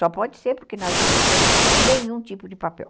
Só pode ser porque nós não encontramos nenhum tipo de papel.